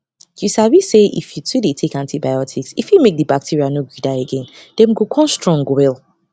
you sabi say if you too dey take antibiotics e fit make the bacteria no gree die again them go come strong well